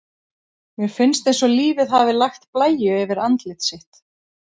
Mér finnst eins og lífið hafi lagt blæju yfir andlit sitt.